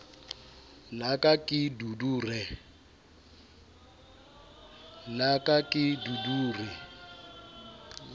la ka ke dudu re